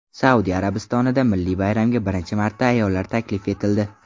Saudiya Arabistonida milliy bayramga birinchi marta ayollar taklif etildi.